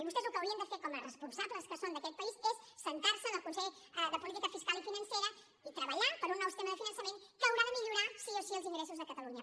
vostès el que haurien de fer com a responsables que són d’aquest país és asseure’s en el consell de política fiscal i financera i treballar per un nou sistema de finançament que haurà de millorar sí o sí els ingressos de catalunya